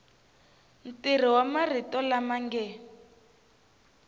ntirho wa marito lama nge